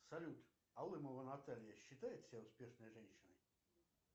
салют алымова наталья считает себя успешной женщиной